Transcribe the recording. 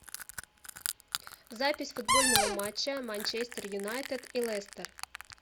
запись футбольного матча манчестер юнайтед и лестер